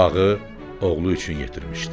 Bu bağı oğlu üçün yetirmişdi.